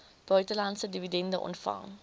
buitelandse dividende ontvang